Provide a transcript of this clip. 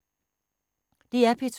DR P2